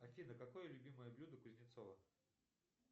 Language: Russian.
афина какое любимое блюдо кузнецова